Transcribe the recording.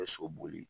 so boli